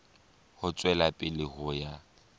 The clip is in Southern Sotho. ho tswela pele ho ya